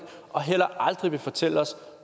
og heller aldrig vil fortælle os